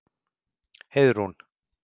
Heiðrún